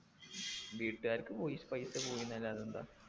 വീട്ടുകാർക്ക് പോയി പൈസ പോയിന്നല്ലാതെന്താ